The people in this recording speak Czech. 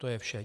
To je vše.